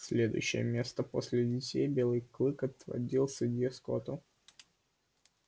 следующее место после детей белый клык отводил судье скотту